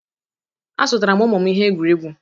Azụtara m ụmụ m ihe egwuregwu